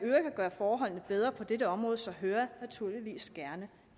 gøre forholdene bedre på dette område så hører jeg naturligvis gerne